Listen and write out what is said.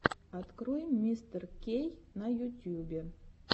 открой мистеркей на ютюбе